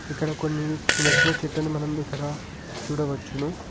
ఇక్కడ కొన్ని చిన్న చిన్న చెట్లని మనం ఇక్కడ చూడవచ్చును.